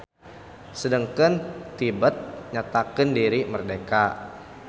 Sedengkeun Tibet nyatakeun diri merdeka.